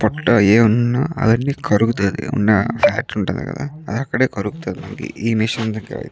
పొట్ట ఏమైనా ఉందా అది కరుగుతాయి.ఫాట్ ఉంటది కదా అది అక్కడే కరుగుతది. ఈ మిషన్ల ద్వారా --